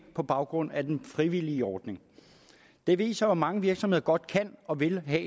på baggrund af den frivillige ordning det viser jo at mange virksomheder godt kan og vil have